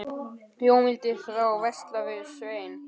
Jón vildi þá versla við Svein.